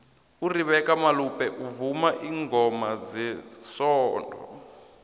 uribecca malope uvuma ilngoma zesondo